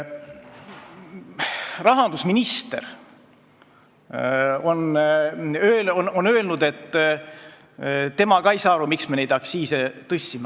Rahandusminister on öelnud, et tema ka ei saa aru, miks nad neid aktsiise tõstsid.